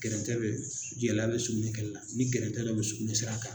Gɛrɛntɛ bɛ gɛlɛya bɛ sukunɛ kɛli la ni gɛrɛntɛ bɛ sukunɛ sira kan.